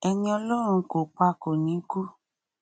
ẹni ọlọrun kò pa kò ní kú